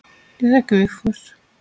Ég þekki Vigfús.